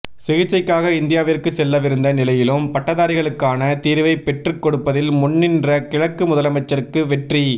சிகிச்சைக்காக இந்தியாவிற்கு செல்லவிருந்த நிலையிலும் பட்டதாரிகளுக்கான தீர்வைப் பெற்றுக் கொடுப்பதில் முன்னின்ற கிழக்கு முதலமைச்சருக்கு வெற்றி